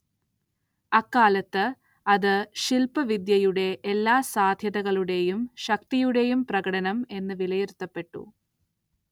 അക്കാലത്ത് അത് ശില്പവിദ്യയുടെ എല്ലാ സാധ്യതകളുടേയും ശക്തിയുടേയും പ്രകടനം എന്ന് വിലയിരുത്തപ്പെട്ടു.